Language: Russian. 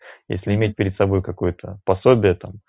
если иметь перед собой какое-то пособие там